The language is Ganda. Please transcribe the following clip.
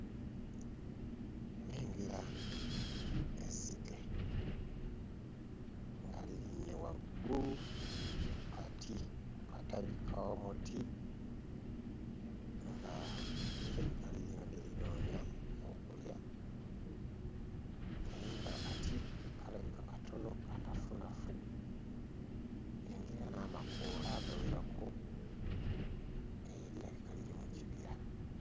Nnengera ezzike nga lirinnye waggulu ku kati ku katabi k'omuti nga lirabika lirina bye linoonya bya kulya naye ng'akati kalabika katono kanafunafu nnengera n'amakoola agawerako eeh lirabika liri mu kibira.